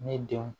Ne denw